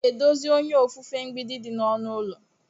M ga-edozi onye ofufe mgbidi dị na ọnụ ụlọ.